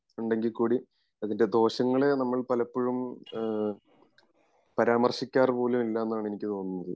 ഉണ്ടെങ്കി കൂടി അതിൻ്റെ ദോഷങ്ങളെ നമ്മൾ പലപ്പോഴും ഏഹ് പരാമർശിക്കാർ പോലും ഇല്ല എന്നാണ് എനിക്ക് തോന്നുന്നത്